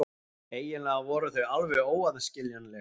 Eiginlega voru þau alveg óaðskiljanleg.